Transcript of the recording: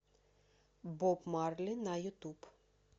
боб марли на ютуб